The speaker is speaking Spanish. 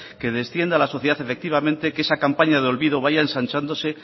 que descienda la sociedad efectivamente que esa campaña de olvido vaya ensanchándose